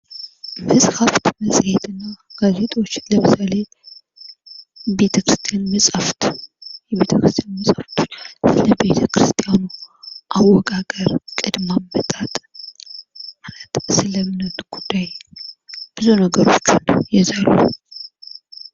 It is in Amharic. መጽሃፍት መፅሔትና ጋዜጣዎች ለምሳሌ የቤተ ክርስቲያን መጻፍት። የቤተክርስቲያን መጻፍቶች ስለ ቤተክርስቲያኑ አወቃቀር፣ ቅድመ አመጣጥ፣ ማለት ስለ እምነቱ ጉዳይ፣ ብዙ ነገሮችን ይይዛሉ።